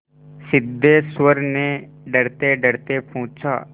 सिद्धेश्वर ने डरतेडरते पूछा